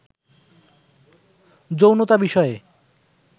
যৌনতা বিষয়ে